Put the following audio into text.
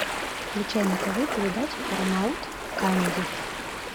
включай на тв передачи парамаунт камеди